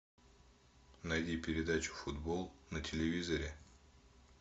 найди передачу футбол на телевизоре